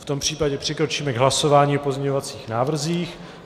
V tom případě přikročíme k hlasování o pozměňovacích návrzích.